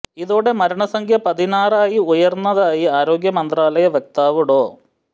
ഇതോടെ മരണസംഖ്യ പതിനാറായി ഉയര്ന്നതായി ആരോഗ്യ മന്ത്രാലയ വക്താവ് ഡോ